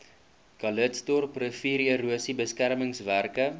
calitzdorp riviererosie beskermingswerke